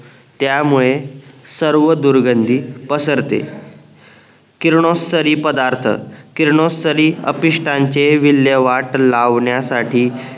त्या मुळे सर्व दुर्गंधी पसरते कीरोत्सारि पदार्थ कीरोत्सारि अपिष्टांचे विल्लेवाट लावण्यासाठी